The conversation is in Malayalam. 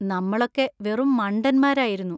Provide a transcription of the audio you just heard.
നമ്മളൊക്കെ വെറും മണ്ടന്മാരായിരുന്നു.